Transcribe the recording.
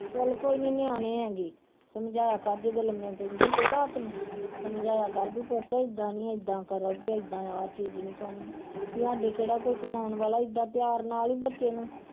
ਚੱਲ ਕੋਈ ਨੀ ਨਿਆਣੇ ਹੈਗੇ ਸਮਝਾਇਆ ਕਰ ਜਦੋਂ ਲੰਮੇ ਪੈਂਦੇ ਹੁੰਦੇ ਰਾਤ ਨੂੰ ਸਮਝਾਇਆ ਕਰ ਵੀ ਪੁੱਤ ਏਦਾਂ ਨੀ ਏਦਾਂ ਕਰੋ ਵੀ ਏਦਾਂ ਆਹ ਚੀਜ਼ ਨੀ ਖਾਣੀ, ਵੀ ਸਾਡੇ ਕਿਹੜਾ ਕੋਈ ਕਮਾਉਣ ਵਾਲਾ ਏਦਾਂ ਪਿਆਰ ਨਾਲ ਹੀ ਬੱਚੇ ਨੂੰ